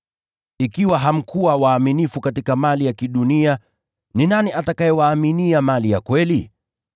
Ikiwa hamkuwa waaminifu katika mali ya kidunia, ni nani atakayewaaminia mali ya kweli?